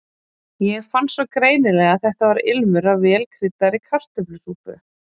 Ég fann svo greinilega að þetta var ilmur af vel kryddaðri kartöflusúpu.